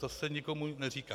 To se nikomu neříká.